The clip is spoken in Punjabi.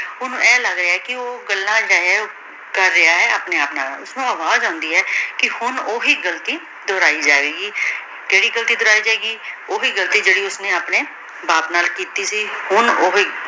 ਓਹਨੁ ਈਨ ਲਾਗ ਰਯ ਹੈ ਕੀ ਊ ਗੱਲਾਂ ਕਰ ਰਿਹਾ ਹੈ ਅਪਨੀ ਆਪ ਨਾਲ ਓਸਨੂ ਈਨ ਲਾਗ ਰਹਾ ਹੈ ਕੀ ਹਨ ਊ ਵੀ ਗਲਤੀ ਦੁਹਰਾਈ ਜੇ ਗੀ ਕੇਰੀ ਗਲਤੀ ਦੁਹਰਾਈ ਜੇ ਗੀ ਜੇਰੀ ਘਲਤੀ ਓਸ੍ਨੀ ਅਪਨੀ ਬਾਪ ਨਾਲ ਕੀਤੀ ਸੀ ਹਨ ਊ